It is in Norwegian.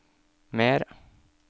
mer